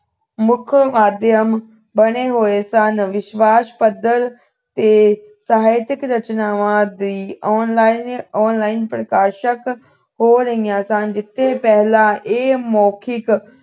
ਮੁੱਖ ਮਧਿਆਨ ਬਣੇ ਹੋਏ ਸਨ ਵਿਸ਼ਵਾਸ ਪੱਧਰ ਤੇ ਸਾਹਿਤਿਕ ਰਚਨਾਵਾਂ ਦੀ online online ਪ੍ਰਕਾਸ਼ਕ ਹੋ ਰਹੀਆਂ ਸਨ ਜਿੱਥੇ ਪਹਿਲਾਂ ਇਹ ਮੌਖਿਕ